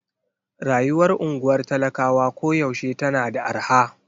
Rayuwar unguwar talakawa koyaushe tana da arha.